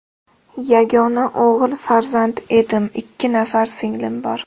Yagona o‘g‘il farzand edim, ikki nafar singlim bor.